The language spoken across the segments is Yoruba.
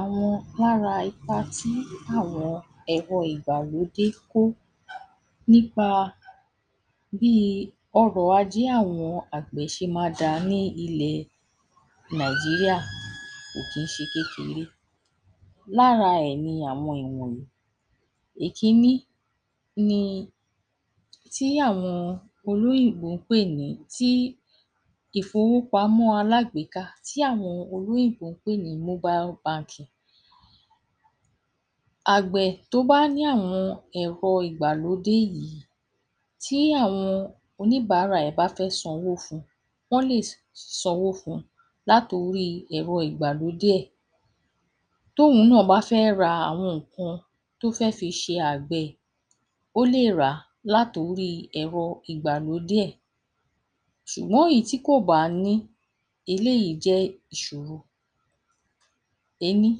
Àwọn lára ipa tí àwọn ẹ̀rọ ìgbàlódé kó nípa bí ọrọ̀ ajé àwọn àgbẹ̀ ṣe máa dáa ní ilẹ̀ Nigeria kò kìí ṣe kékeré. Lára ẹ̀ ni àwọn ẹ̀ ni àwọn wọ̀nyí:- Èkínní ni tí àwọn olóyìnbó ń pè ní ìfowópamọ́ alágbèéká tí àwọn olóyìnbó ń pè ní mobile bank. Àgbẹ̀ tó bá ní àwọn ẹ̀rọ ìgbàlódé yìí tí àwọn oníbàárà ẹ̀ bá fẹ́ sanwó fún wọn sì lè sanwó fún un láti orí ẹ̀rọ ìgbalódé ẹ̀. Tómìíràn bá fẹ́ ra nǹkan, tó fẹ́ fi ṣe àgbẹ̀, ó lè rà láti ori ẹ̀rọ ìgbàlódé ẹ̀, ṣùgbọ́n èyí tí kò bá ní, eléyìí jẹ́ ìṣòro ení.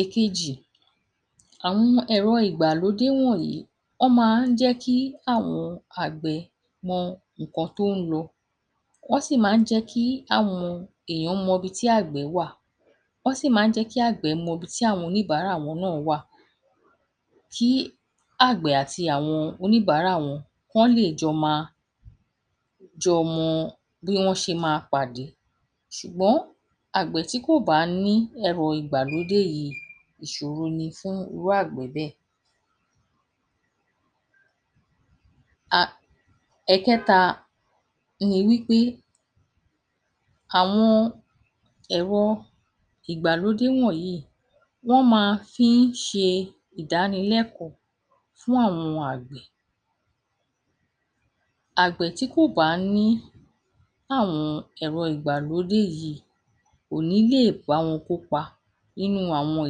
Èkejì: àwọn ẹ̀rọ ìgbàlódé wọ̀nyí, wọ́n máa ń jẹ́ kí àwọn àgbẹ̀ mọ nǹkan tó ń lọ. Wọ́n sì máa ń jẹ́ kí èèyàn mọ ibi tí àgbẹ̀ wà. Wọ́n sì máa ń jẹ́ kí àwọn àgbẹ̀ mọ ibi tí àwọn oníbàárà wọn náà wà. Kí àgbẹ̀ àti àwọn oníbàárà wọn, wọ́n lè jọ máa jọ mọ bí wọ́n ṣe máa pàdé. Ṣùgbọ́n àgbẹ̀ tí kò bá ní ẹ̀rọ ìgbàlódé yìí, ìṣòro ni fún irú àgbẹ̀ bẹ́ẹ̀. ẹ̀kẹ́ta: ni wí pé àwọn ẹ̀rọ ìgbàlódé wọ̀nyí wọ́n máa fi ń ṣe ìdánilẹ́kọ̀ọ́ fún àwọn àgbẹ̀. Àgbẹ̀ tí ko bá ní àwọn ẹ̀rọ ìgbàlódé yìí, kò nílè bá wọn kópa nínú àwọn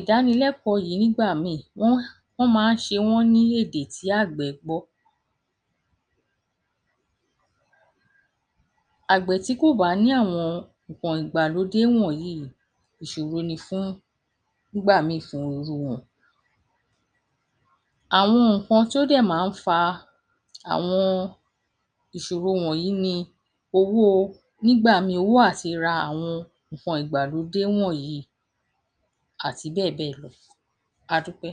idánilẹ́kọ̀ọ́ yìí nígbà míì wọ́n máa ń ṣe ọ́n ní èdè tí àgbẹ̀ gbọ́. Àgbẹ̀ tí kò bá ní àwọn ẹ̀rọ ìgbàlódé wọ̀n yí ìṣòro ni fún un nígbà míràn fún irú wọn. Àwọn nǹkan tó dẹ̀ máa ń fa àwọn ìṣòro wọ̀nyí ni, owó nígbà míì owó àti ra nǹkan ìgbàlódé wọ̀nyí àti bẹ́ẹ̀ bẹ́ẹ̀ lọ. Adúpẹ́.